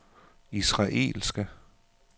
israelske